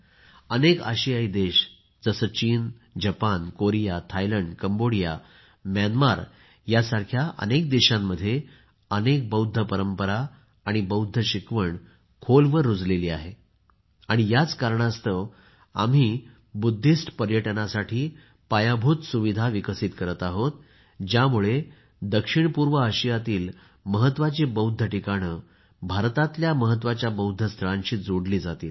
अनेक आशियाई देश जसे चीन जपान कोरिया थायलंड कंबोडिया म्यानमारसारख्या अनेक देशांमध्ये अनेक बौद्ध परंपरा आणि बौद्ध शिकवण खोलवर रुजली आहे आणि याच कारणास्तव आम्ही बौद्ध पर्यटनासाठी पायाभूत सुविधा विकसित करत आहोत ज्यामुळे दक्षिणपूर्व आशियातील महत्वाची बौद्ध ठिकाणे भारतातील महत्वाच्या बौद्ध स्थळांशी जोडली जातील